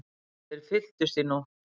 Þeir fylltust í nótt.